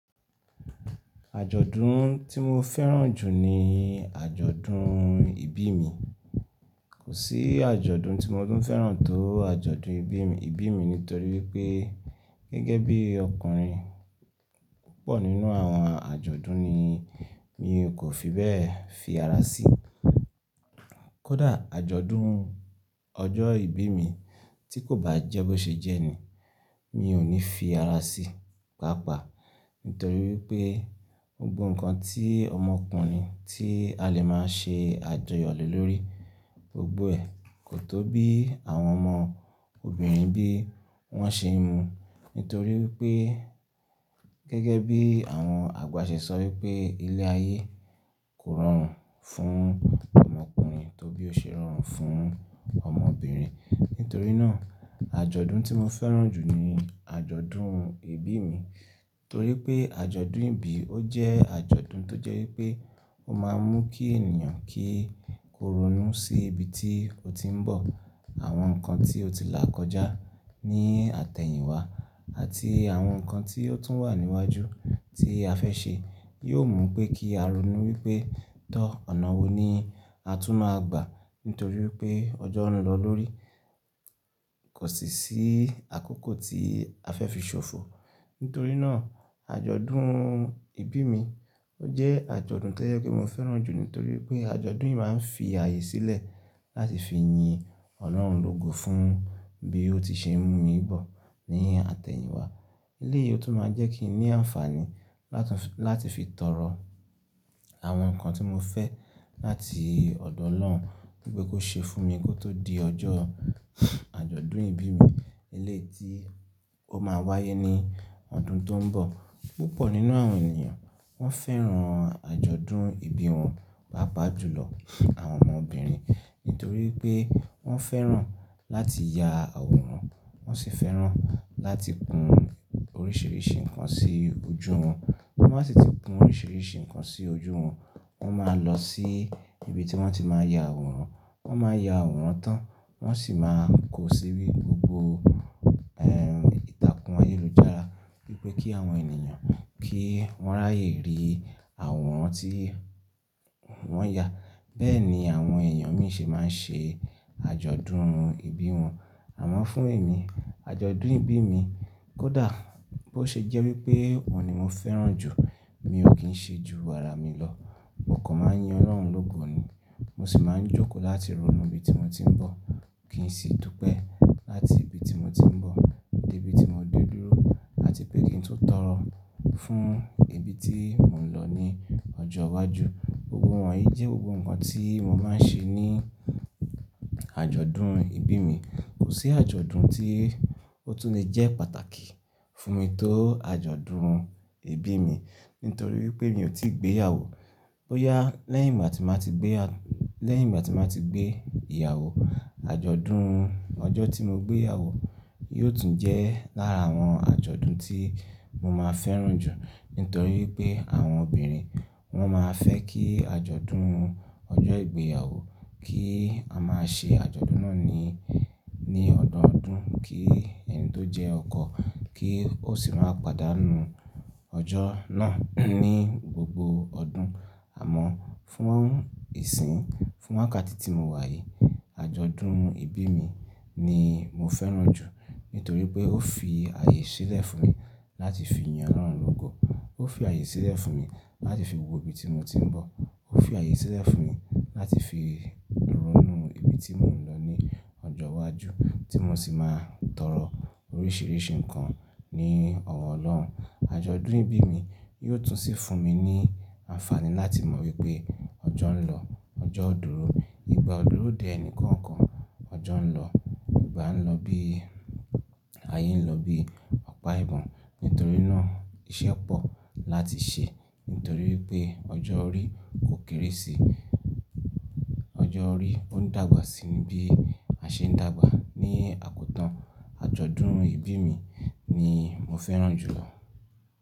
Àjọ̀dún tí mo fẹ́ràn jù ní àjọ̀dún ìbí mi. Kò sí àjọ̀dún tí mo tún fẹ́ràn tó àjọ̀dún ìbí mi, ìbí mi nítorí wípé gẹ́gẹ́ bí ọkùnrin púpọ̀ nínú àwọn àjọ̀dún ni mi kò fi bẹ́ẹ̀ fi ara sí. Kódà àjọ̀dún ọjọ́ ìbí mi tí kò bá jẹ́ bó ṣe jẹ́ ni, mi ò ní fi ara sí papa. Nítorí wípé ó gbó ǹkan tí ọmọkùnrin tí a lè máa ń ṣe àjọyọ̀ lé lórí gbogbo ẹ̀. Kò tó bí àwọn ọmọ obìnrin bí wón ṣe ń mu. Nítorí wípé gẹ́gẹ́ bí àwọn àgbà ṣe sọ wípé ilé ayé kò rọrùn fún ọmọkùnrin tó bí ó ṣe rọrùn fún ọmọbìnrin. Nítorí náà àjọ̀dún tí mo fẹ́ràn jù ni àjọ̀dún ìbí mi. Torí pé àjọ̀dún ìbí ó jẹ́ àjọ̀dún tó jẹ́ wípé ó máa ń mú kí ènìyàn kí ó ronú sí ibi tí ó ti ń bọ̀, àwọn nǹkan tí ó ti là kọjá ní àtẹ̀yìnwá àti àwọn nǹkan tí ó tún wà níwájú tí a fẹ́ ṣe. Yóò mú pé kí a ronú wípé tó ọ̀nà wo ni a tún máa gbà. Nítorí wípé ọjọ́ ń lọ lórí, kò sì sí àkókò tí a fẹ́ fi ṣòfò. Nítorí náà àjọ̀dún ìbí mi ó jẹ́ àjọ̀dún tó jẹ́ pé mo fẹ́ràn jù nítorí pé àjọ̀dún yìí máa ń fi ààyè sílẹ̀ láti fi yin Ọlọ́run lógo fún bí ó ti ṣe n mú mi bọ̀ ní àtẹ̀yìnwá. Ilé yìí ó tún máa jẹ́ kí i ní àǹfààní láti fi tọrọ àwọn nǹkan tí mo fẹ́ láti ọ̀dọ̀ Ọlọ́run wípé kó ṣe fún mi kó tó di ọjọ́ àjọ̀dún ìbí mi eléétí ó máa wáyé ní ọdún tó ń bọ̀. Púpọ̀ nínú àwọn ènìyàn wón fẹ́ràn àjọ̀dún ìbí wọn papa jùlọ àwọn ọmọbìnrin. Nítorí pé wón fẹ́ràn láti ya àwòrán, wón sì fẹ́ràn láti kun oríṣìíríṣìí nǹkan sí ojú wọn. Wọ́n á sì ti kun oríṣìíríṣìí nǹkan sí ojú wọn, wón máa lọ sí ibi tí wón ti máa ya àwòrán. Wón máa ya àwòrán tán, wón sì máa kó sí rí gbogbo, ẹ́m, ìtàkùn ayélujára. Wípé kí àwọn ènìyàn kí wón ráyè rí àwòrán tí wón ya. Bẹ́ẹ̀ ni àwọn èèyàn mi ṣe máa ń ṣe àjọ̀dún ìbí wọn. Àmọ́ fún èmi àjọ̀dún ìbí mi kódà bó ṣe jẹ́ wípé òun ni mo fẹ́ràn jù, mi ò kín ṣe ju wàrà mi lọ. Mo kàn máa ń yin Ọlọ́run lógo ni. Mo sì máa ń jókòó láti ronú ibi tí mo ti ń bọ̀. Kì í sì dú pẹ́ láti ibi tí mo ti ń bọ̀ dé ibi tí mo dé dúró àti pé kí n tún tọrọ fún ibi tí mò ń lọ ní ọjọ́ iwájú. Gbogbo wọ̀nyí jẹ́ gbogbo nǹkan tí mo máa ń ṣe ní àjọ̀dún ìbí mi. Kò sí àjọ̀dún tí ó tún lè jẹ́ pàtàkì fún mi tó àjọ̀dún ìbí mi. Nítorí wípé mi ò tí gbéyàwó. Bo yá lẹ́yìn gbà ti máa ti gbéya-- lẹ́yìn bí a ti máa ti gbé ìyàwó, àjọ̀dún ọjọ́ tí mo gbéyàwó yóò tún jẹ́ lára àwọn àjọ̀dún tí mo máa fẹ́ràn jù. Nítorí pé àwọn obìnrin wón máa fẹ́ kí àjọ̀dún ọjọ́ ìgbéyàwó kí a máa ṣe àjọ̀dún náà ní, ní ọdọọdún kí ẹni tó jẹ́ ọkọ kí ó sì máa padà nu ọjọ́ náà ní gbogbo ọdún. Àmọ́ fún ìsìn fún wákàtí tí mo wà yìí, àjọ̀dún ìbí mi ni mo fẹ́ràn jù. Nítorí pé ó fi ààyè sílẹ̀ fún mi láti fi yin Ọlọ́run lógo. Ó fi ààyè sílẹ̀ fún mi láti fi wo ibi tí mo ti ń bọ̀. Ó fi ààyè sílẹ̀ fún mi láti fi ronú ibi tí mò ń lọ ní ọjọ́ iwájú tí mo sì máa tọrọ oríṣìíríṣìí nǹkan ní ọwọ́ Ọlọ́run. Àjọ̀dún ìbí mi yóò tún sì fún mi ní àǹfààní láti mọ̀ wípé ọjọ́ ń lọ, ọjọ́ ó dúró. Ìgbà ó dúró dè ẹni kọ̀ọ̀kan, ọjọ́ ń lọ, ìgbà ń lọ bí ayé ń lọ bí ọ̀pá ìbọn. Nítorí náà iṣẹ́ pọ̀ láti ṣe. Nítorí wípé ọjọ́ orí kò kéré sí, ọjọ́ orí ó ń dàgbà síi bí a ṣe ń dàgbà ní àkótán. Àjọ̀dún ìbí mi ni mo fẹ́ràn jùlọ.